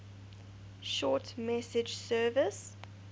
short message service